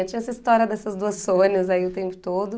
Tinha essa história dessas duas Sônias aí o tempo todo.